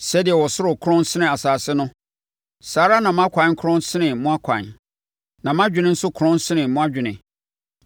“Sɛdeɛ ɔsoro korɔn sene asase no, saa ara na mʼakwan korɔn sene mo akwan, na mʼadwene nso korɔn sene mo adwene.